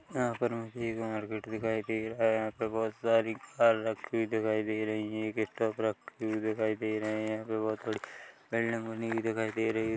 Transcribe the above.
यहाँ पर एक मार्केट दिखाई दे रहा है यहाँ पर बहुत सारी कार रखी हुई दिखाई दे रही है एक टप रखी हुई दिखाई दे रही है दे रही है।